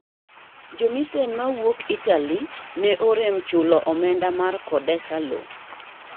Jo missen mawuok Italy ne orem chuilo omenda mar kodesa lo.